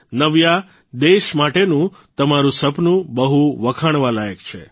નવ્યા દેશ માટેનું તમારૂં સપનું બહું વખાણવાલાયક છે